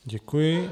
Děkuji.